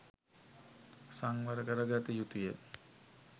සංවර කරගත යුතුය.